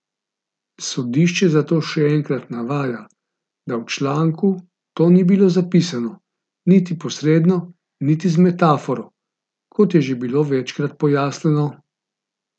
Sodišče zato še enkrat navaja, da v članku to ni bilo zapisano, niti posredno niti z metaforo, kot je že bilo večkrat pojasnjeno.